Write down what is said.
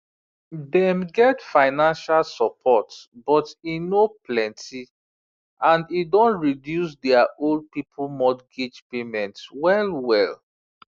dem get financial support but e no plenty and e don reduce their old people mortgage payments well well